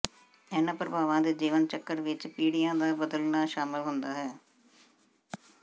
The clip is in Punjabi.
ਇਹਨਾਂ ਪ੍ਰਭਾਵਾਂ ਦੇ ਜੀਵਨ ਚੱਕਰ ਵਿੱਚ ਪੀੜ੍ਹੀਆਂ ਦਾ ਬਦਲਣਾ ਸ਼ਾਮਲ ਹੁੰਦਾ ਹੈ